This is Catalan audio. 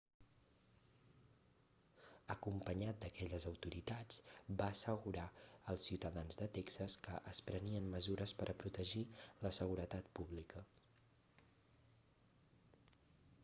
acompanyat d'aquelles autoritats va assegurar als ciutadans de texas que es prenien mesures per a protegir la seguretat pública